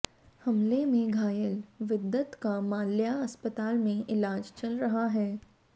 हमले में घायल विद्वत का माल्या अस्पताल में इलाज चल रहा है